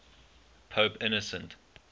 pope innocent